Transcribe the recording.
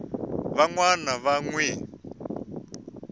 van wana va n wi